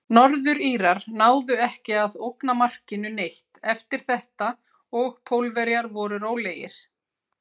Norður-Írar náðu ekki að ógna markinu neitt eftir þetta og Pólverjar voru rólegir.